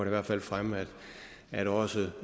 i hvert fald fremme at også